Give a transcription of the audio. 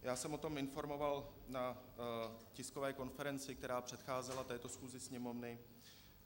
Já jsem o tom informoval na tiskové konferenci, která předcházela této schůzi Sněmovny.